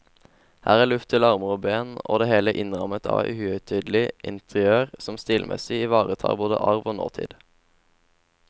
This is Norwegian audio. Her er luft til armer og ben, det hele innrammet av et uhøytidelig interiør som stilmessig ivaretar både arv og nåtid.